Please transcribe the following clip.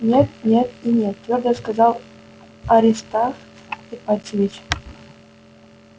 нет нет и нет твёрдо сказал аристарх ипатьевич